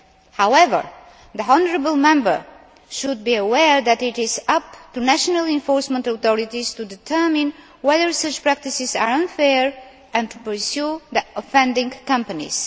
However, the honourable Member should be aware that it is up to national enforcement authorities to determine whether such practices are unfair and to pursue the offending companies.